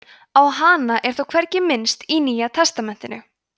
á hana er þó hvergi minnst í nýja testamentinu